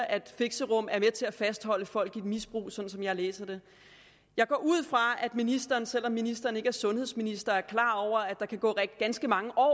at fixerum er med til at fastholde folk i et misbrug sådan som jeg læser det jeg går ud fra at ministeren selv om ministeren ikke er sundhedsminister er klar over at der kan gå ganske mange år